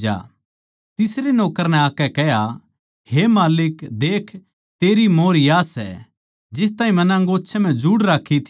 तीसरे नौक्कर नै आकै कह्या हे माल्लिक देख तेरी मोंहर या सै जिस ताहीं मन्नै अंगोच्छे म्ह जुड़ राक्खी थी